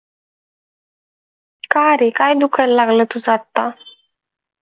का रे काय दुखायला लागलय तुझ आत्ता?